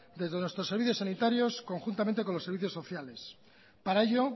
desde nuestros servicios sanitarios conjuntamente con los servicios sociales para ello